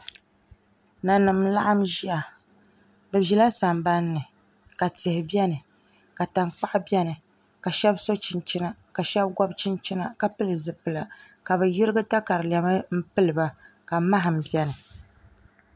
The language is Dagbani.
Nanim n laɣam ʒiya bi ʒila sambanni ka tihi biɛni ka tankpaɣu biɛni ka shab so chinchina ka shab gobi chinchina ka pili zipila ka bi yirigi katalɛma n piliba ka maham biɛni